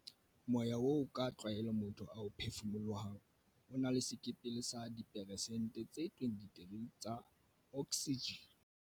"Moya oo ka tlwaelo motho a o phefumolohang o na le sekepele sa dipheresente tse 23 tsa oksijene."